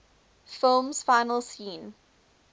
film's final scene